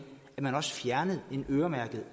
at man også fjernede en øremærket